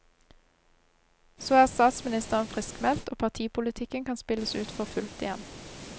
Så er statsministeren friskmeldt, og partipolitikken kan spilles ut for fullt igjen.